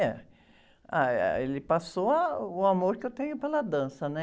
É. Ah, eh, ele passou ah, o amor que eu tenho pela dança, né?